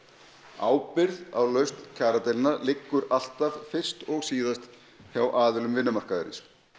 ábyrgð á lausn kjaradeilna liggur alltaf fyrst og síðast hjá aðilum vinnumarkaðarins